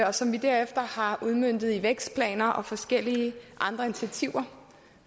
og som vi derefter har udmøntet i vækstplaner og forskellige andre initiativer